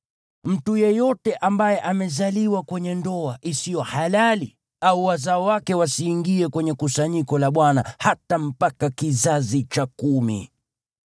Mtu yeyote ambaye amezaliwa kwenye ndoa isiyo halali au wazao wake wasiingie kwenye kusanyiko la Bwana , hata mpaka kizazi cha kumi.